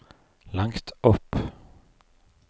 langt opp